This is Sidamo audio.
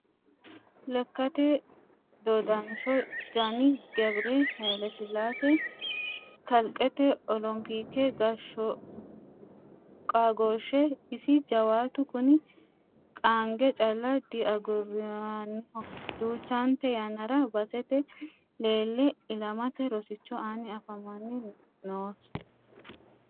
Lekkate dodasho janni Gebire Hailesilase kalqete olopike qaagoshshe isi jawaatu kuni qaange calla diaguraniho duuchante yannara basete leele ilamate rosicho aani afama noosiho.